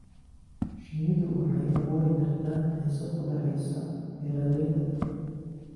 Shinnidu waxay abuuri kartaa xiisad u dhaxaysa beeralayda.